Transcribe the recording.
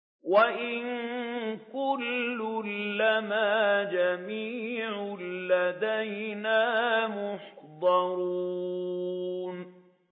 وَإِن كُلٌّ لَّمَّا جَمِيعٌ لَّدَيْنَا مُحْضَرُونَ